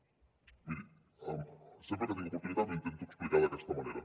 miri sempre que tinc oportunitat ho intento explicar d’aquesta manera